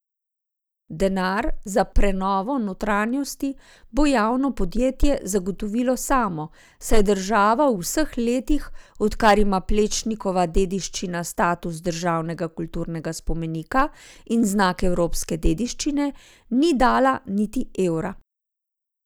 Denar za prenovo notranjosti bo javno podjetje zagotovilo samo, saj država v vseh letih, odkar ima Plečnikova dediščina status državnega kulturnega spomenika in znak evropske dediščine, ni dala niti evra.